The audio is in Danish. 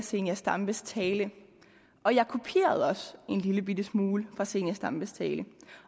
zenia stampes tale og jeg kopierede også en lillebitte smule fra fru zenia stampes tale